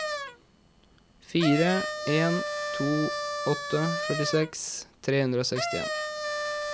fire en to åtte førtiseks tre hundre og sekstien